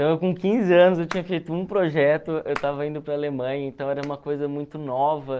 Então, eu com quinze anos, eu tinha feito um projeto, eu estava indo para a Alemanha, então era uma coisa muito nova.